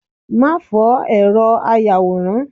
ma fó eró ayawóran